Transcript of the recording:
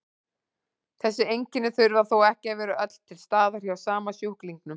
Þessi einkenni þurfa þó ekki að vera öll til staðar hjá sama sjúklingnum.